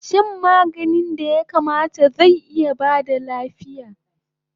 Shan maganin da ya kamata zai iya baka lafiya